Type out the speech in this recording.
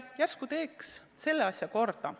Järsku teeks selle asja korda.